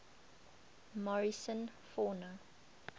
morrison fauna